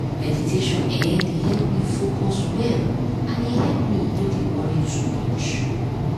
meditation[um]dey help me focus well and e help me no dey worry too much